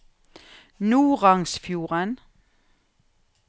Norangsfjorden